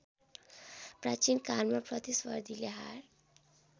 प्रचीनकालमा प्रतिस्पर्धीले हार